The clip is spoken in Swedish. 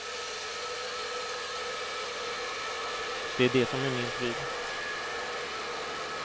Det är det som är min pryl.